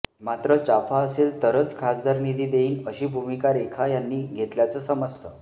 मात्र चाफा असेल तरच खासदार निधी देईन अशी भूमीका रेखा यांनी घेतल्याचं समजतं